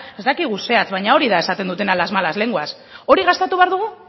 ez dakigu zehatz baina hori esaten dutena las malas lenguas hori gastatu behar dugu